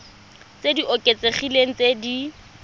tse di oketsegileng tse di